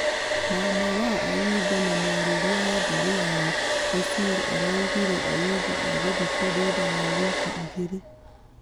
Mama wa ayimba na mwarĩria wa mbaarĩ yao Osir araugire ayimba agũthikwa thutha wa wiki igĩrĩ.